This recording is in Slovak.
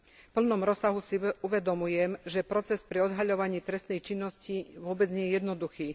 V plnom rozsahu si uvedomujem, že proces pri odhaľovaní trestnej činnosti vôbec nie je jednoduchý.